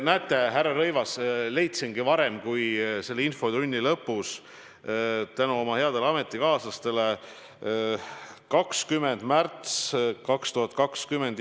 Näete, härra Rõivas, leidsingi selle info varem kui infotunni lõpus tänu oma headele ametikaaslastele: 20. märtsil 2020.